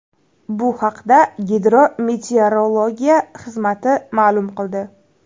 Bu haqda Gidrometeorologiya xizmati ma’lum qildi .